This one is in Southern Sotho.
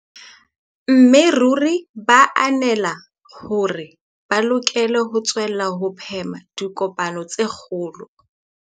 Mme ruri ba ananela hore ba lokela ho tswella ho phema dipokano tse kgolo.